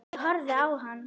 Ég horfði á hann.